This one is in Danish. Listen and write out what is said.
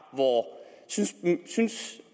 synes